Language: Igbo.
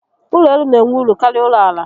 Ụlọ elu n'enwe uru karịa ụlọ àlà